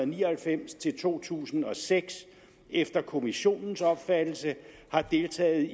ni og halvfems til to tusind og seks efter kommissionens opfattelse har deltaget